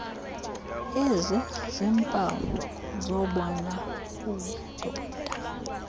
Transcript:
eziziiimpawu zobona budoda